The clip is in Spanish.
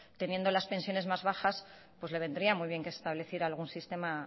teniendo las pensiones más bajas pues le vendría muy bien que estableciera algún sistema